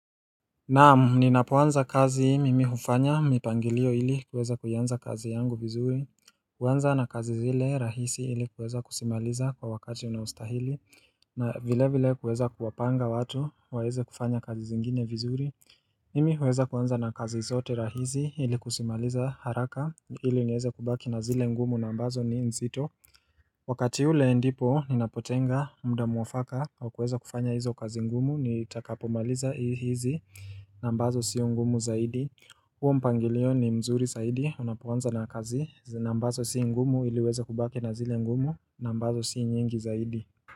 Naamu, ninapoanza kazi mimi hufanya, mipangilio ili kuweza kuyanza kazi yangu vizuri, kuweza na kazi zile rahisi ili kuweza kusimaliza kwa wakati unaustahili, na vile vile kuweza kuwapanga watu, waeze kufanya kazi zingine vizuri. Mimi huweza kuweza na kazi zote rahisi ili kusimaliza haraka ili unyeze kubaki na zile ngumu na ambazo ni nzito. Wakati ule ndipo ninapotenga mda muafaka au kuweza kufanya hizo kazi ngumu ni itakapomaliza hizi nambazo sio ngumu zaidi huo mpangilio ni mzuri saidi unapuanza na kazi nambazo sio ngumu iliweza kubaki na zile ngumu nambazo sio nyingi zaidi.